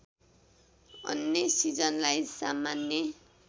अन्य सिजनलाई सामान्य